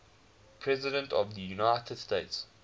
presidents of the united states